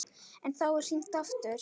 En þá er hringt aftur.